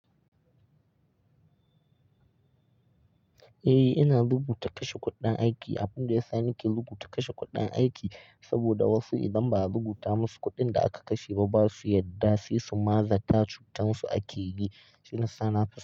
Eh ina rubuta kashe kuɗin aiki. Abin da ya sa nake rubuta kashe kuɗin aiki saboda wasu idan ba a rubuta musu kuɗin da aka kashe ba, ba su yarda sai su mazata cutar su ake yi. Shine sa na fison.